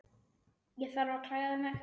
Ég þarf að klæða mig.